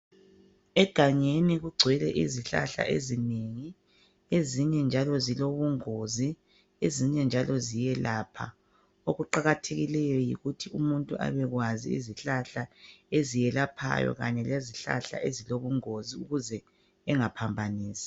Egangeni kugcwele izihlahla ezinengi ezinye zilobungozi .Ezinye njalo ziyelapha .Okuqakathekileyo yikuthi umuntu abekwazi izihlahla eziyelaphayo kanye lezihlahla ezilobungozi ukuze engaphambanisi .